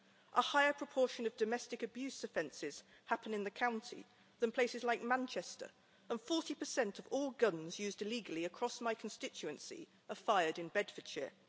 A higher proportion of domestic abuse offences happen in the county than in places like Manchester, and 40 of all guns used illegally across my constituency are fired in Bedfordshire.